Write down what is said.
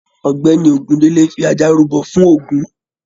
Ọgbẹni Ogundele fí ajá rúbọ fún ògún